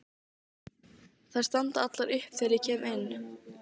Þær standa allar upp þegar ég kem inn.